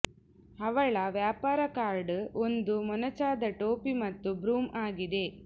ಅವಳ ವ್ಯಾಪಾರ ಕಾರ್ಡ್ ಒಂದು ಮೊನಚಾದ ಟೋಪಿ ಮತ್ತು ಬ್ರೂಮ್ ಆಗಿದೆ